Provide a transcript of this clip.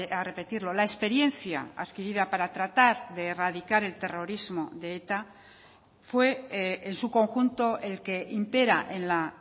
a repetirlo la experiencia adquirida para tratar de erradicar el terrorismo de eta fue en su conjunto el que impera en la